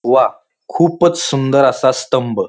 वा खूपच सुंदर असा स्तंभ--